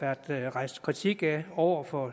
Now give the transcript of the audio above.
har været rejst kritik af over for